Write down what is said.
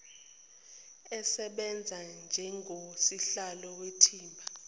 asebenze njengosihlalo wethimba